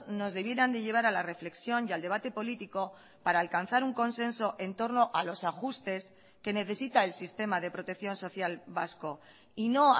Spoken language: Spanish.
nos debieran de llevar a la reflexión y al debate político para alcanzar un consenso en torno a los ajustes que necesita el sistema de protección social vasco y no